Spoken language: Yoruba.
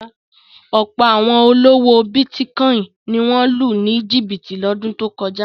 Ọ̀pọ̀ àwọn olówò bítíkọ́ìn ni wọ́n lù ní jìbìtì lọ́dún tó kọjá.